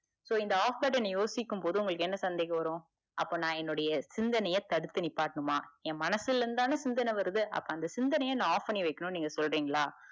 so இந்த off button யோசிக்கும்போது உங்களுக்கு என்ன சந்தேகம் வரும் அப்ப நா என்னுடைய சிந்தனைய தடுத்து நிப்பாட்டனுமா என் மனசுலருந்து தான சிந்தன வருது அப்ப அந்த சிந்தனைய நா off பண்ணி வைக்கனும்னு நீங்க சொல்றீங்களா?